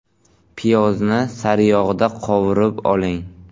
Piyozni sariyog‘da qovurib oling.